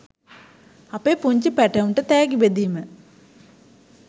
අපේ පුංචි පැටවුන්ට තෑගි බෙදීම.